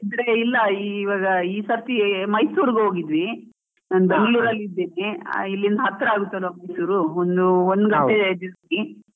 ಇದ್ರೆ ಇಲ್ಲ ಇವಾಗ ಈ ಸರ್ತಿ ಮೈಸೂರ್ ಗೆ ಹೋಗಿದ್ವಿ, ನಾನ್ ಬೆಂಗಳೂರು ಅಲ್ಲಿ ಇದ್ದೀನಿ, ಇಲ್ಲಿಂದ ಹತ್ರ ಆಗುತ್ ಅಲಾ ಒಂಚೂರು ಒಂದು ಒಂದ್ ಗಂಟೆ .